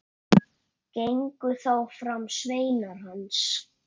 Gengu þá fram sveinar hans.